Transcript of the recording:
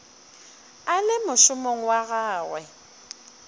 a le mošomong wa gagwe